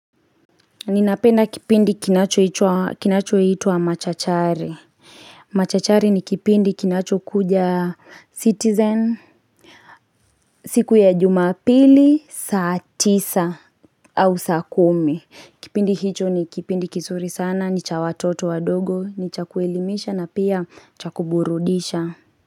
Ninapenda kipindi kinacho itwa machachari. Machachari ni kipindi kinacho kuja citizen siku ya jumapili, saa tisa, au sakumi. Kipindi hicho ni kipindi kizuri sana, ni cha watoto wadogo, ni cha kuelimisha na pia cha kuburudisha.